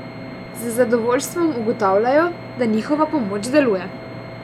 Z zadovoljstvom ugotavljajo, da njihova pomoč deluje.